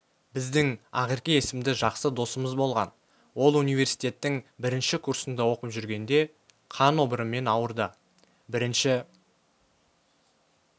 біздің ақерке есімді жақсы досымыз болған ол университеттің бірінші курсында оқып жүргенде қан обырымен ауырды бірінші